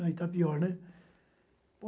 Não é Itapior, né?